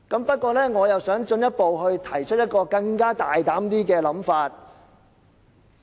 不過，我想提出一個更大膽的想法。